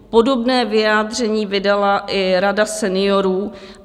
Podobné vyjádření vydala i Rada seniorů.